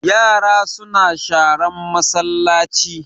Yara suna sharan masallaci